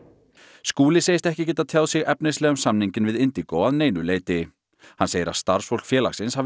Skúli segist ekki geta tjáð sig efnislega um samninginn við Indigo að neinu leyti hann segir að starfsfólk félagsins hafi